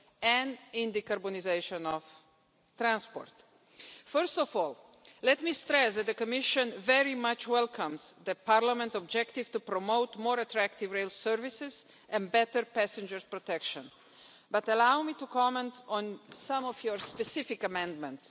and in decarbonisation of transport. First of all, let me stress that the Commission very much welcomes Parliament's objective to promote more attractive rail services and better passenger protection, but allow me to comment on some of your specific amendments.